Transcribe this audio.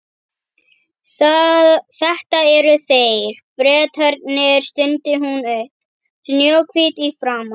Þetta eru þeir, Bretarnir stundi hún upp, snjóhvít í framan.